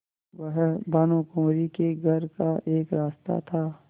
वह भानुकुँवरि के घर का एक रास्ता था